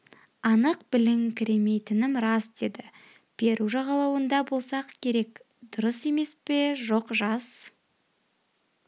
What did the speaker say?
анық біліңкіремейтінім рас деді перу жағалауында болсақ керек дұрыс емес пе жоқ жас